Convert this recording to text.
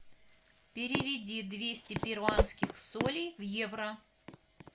переведи двести перуанских солей в евро